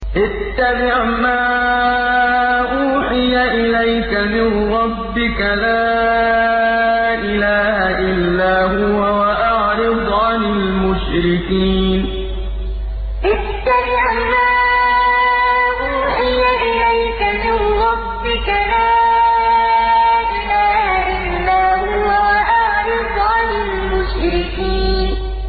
اتَّبِعْ مَا أُوحِيَ إِلَيْكَ مِن رَّبِّكَ ۖ لَا إِلَٰهَ إِلَّا هُوَ ۖ وَأَعْرِضْ عَنِ الْمُشْرِكِينَ اتَّبِعْ مَا أُوحِيَ إِلَيْكَ مِن رَّبِّكَ ۖ لَا إِلَٰهَ إِلَّا هُوَ ۖ وَأَعْرِضْ عَنِ الْمُشْرِكِينَ